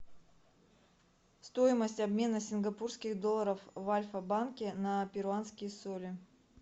стоимость обмена сингапурских долларов в альфа банке на перуанские соли